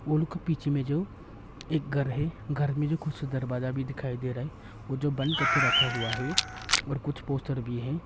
वो लोग के पीछे में जो एक घर है घर में जो दरवाजा भी दिखाई दे रहा है वो जो बंद करके रखा हुआ है और कुछ पोस्टर भी है।